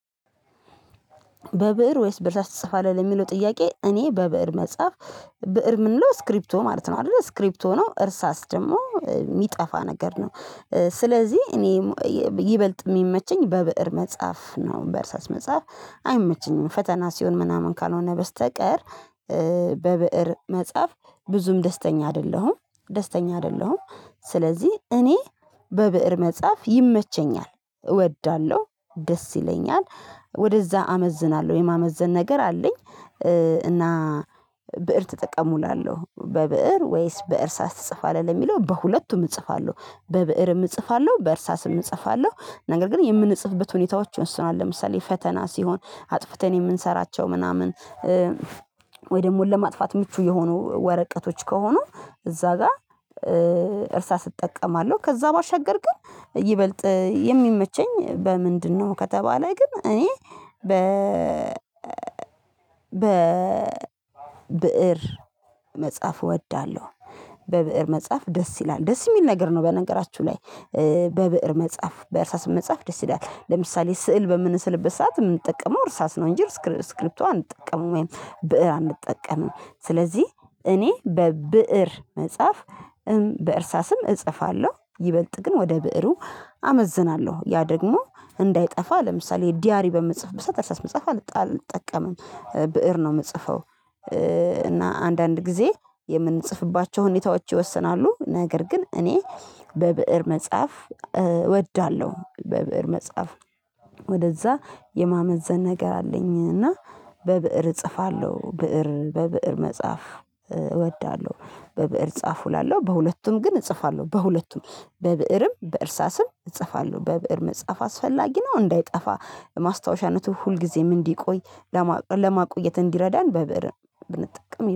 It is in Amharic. በብእር ወይስ በእርሳስ ትጽፋለህ የሚለው ጥያቄ እኔ በብእር መጻፍ ብእር የምንለው ስክሪፕቶ ማለት ነው አይደለ ስክሪፕቶ ነው እርሳስ ደግሞ የሚጠፋ ነገር ነው። ስለዚህ እኔ ይበልጥ የሚመቸኝ በብእር መጽሐፍ ነው በእርሳስ መጽሐፍ አይመቸኝም ፈተና ሲሆን ምናምን ካልሆነ በስተቀር። በብእር መጽሐፍ ብዙም ደስተኛ አይደለሁም ደስተኛ አይደለሁም። ስለዚህ እኔ በብእር መጽሐፍ ይመቸኛል እወዳለሁ ደስ ይለኛል ወደዛ አመዝናለሁ የማመዘን ነገር አለኝ። እና ብእር ተጠቀሙ እላለሁ በብእር ወይስ በእርሳስ ትጽፋለህ ለሚለው በሁለቱም እጽፋለሁ በብእርም እጽፋለሁ በእርሳስም እጽፋለሁ ነገር ግን የምንጽፍበት ሁኔታዎች ይወስናል። ለምሳሌ ፈተና ሲሆን አጥፍተን የምንሰራቸው ምናምን ደግሞ ለማጥፋት ምቹ የሆኑ ወረቀቶች ከሆኑ እዛ ጋር እርሳስ እጠቀማለሁ ከዛ ባሻገር ግን ይበልጥ የሚመቸኝ በምንድነው? ከተባለ ግን እኔ በ ብእር መጽሐፍ እወዳለሁ። በብእር መጽሐፍ ደስ ይላል ደስ የሚል ነገር ነው። በነገራችሁ ላይ በብእር መጽሐፍ በርሳስም መጽሐፍ ደስ ይላል ለምሳሌ ስዕል በምንስልበት ሰዓት የምንጠቀመው እርሳስ ነው። እንጂ ስክሪፕቶ እንጠቀምው ወይም ብእር አንጠቀምም ስለዚህ። እኔ በብእር መጽሐፍ በእርሳስም እጽፋለሁ ይበልጥ ግን ወደ ብእሩ አመዝናለሁ ያ ደግሞ እንዳይጠፋ ለምሳሌ ዲያሪ በምጽፍበት ሰዓት በእርሳስ መጻፍ አልጠቀምም በብእር ነው የምጽፈው። እና አንዳንድ ጊዜ የምንጽፍባቸው ሁኔታዎች ይወስናሉ። ነገር ግን እኔ በብእር መጽሐፍ እወዳለሁ። በብእር መጽሐፍ ወደዛ የማመዘን ነገር አለኝና በብእር እጽፋለሁ ብእር በብእር መጽሐፍ እወዳለሁ። በብእር ጻፉ እላለሁ በሁለቱም ግን እጽፋለሁ በሁለቱም በብእርም በእርሳስም እጽፋለሁ በብእር መጽሐፍ አስፈላጊ ነው። እንዳይጠፋ ማስታወሻነቱ ሁልጊዜም እንዲቆይ ለማቆየት እንዲረዳን በብእር ብንጠቀም